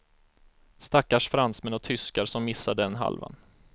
Stackars fransmän och tyskar som missar den halvan.